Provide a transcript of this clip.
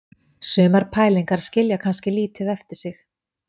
Sumar pælingar skilja kannski lítið eftir sig.